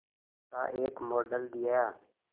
का एक मॉडल दिया